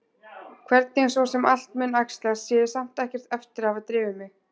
Hvernig svo sem allt mun æxlast sé ég samt ekkert eftir að hafa drifið mig.